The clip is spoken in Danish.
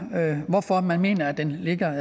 hvorfor man mener at den ligger